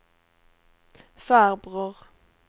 farbror